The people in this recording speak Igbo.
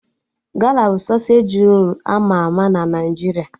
Gala bụ sọsej rolu ama ama na Naijiria